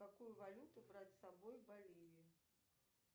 какую валюту брать с собой в боливию